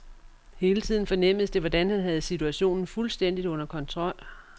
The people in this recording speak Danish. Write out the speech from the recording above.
Hele tiden fornemmedes det, hvordan han havde situationen fuldstændigt under kontrol.